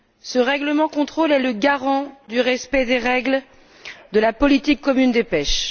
Ce règlement de contrôle est le garant du respect des règles de la politique commune de la pêche.